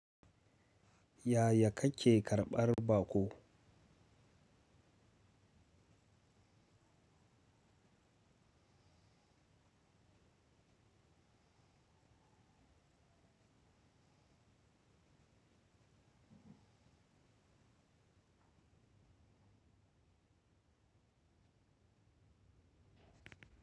Yaya kake karɓar baƙo?